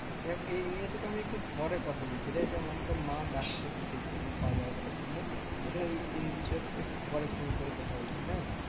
দেখ এই নিয়ে তোকে আমি একটু পরে কথা বলছিরে আমাকে মা ডাকছে কিসের জন্য খাওয়া দাওয়া করার জন্য এ বিষয়ে একটু পরে phone করে কথা বলছি হ্যাঁ